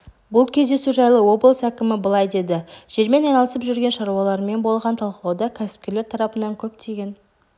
бұл кездесу жайлы облыс әкімі былай деді жермен айналысып жүрген шаруалармен болған талқылауда кәсіпкерлер тарапынан көптеген